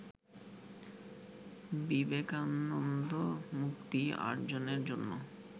বিবেকানন্দ মুক্তি অর্জনের জন্য